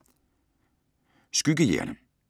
Skyggejægerne